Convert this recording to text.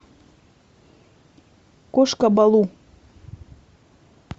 кошка балу